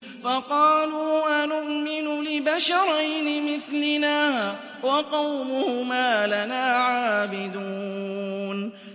فَقَالُوا أَنُؤْمِنُ لِبَشَرَيْنِ مِثْلِنَا وَقَوْمُهُمَا لَنَا عَابِدُونَ